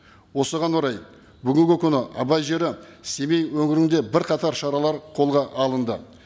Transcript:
осыған орай бүгінгі күні абай жері семей өңірінде бірқатар шаралар қолға алынды